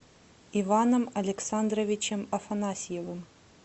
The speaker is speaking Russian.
иваном александровичем афанасьевым